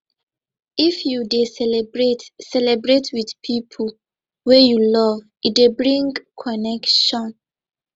if you dey celebrate celebrate with pipo wey you love e dey bring connection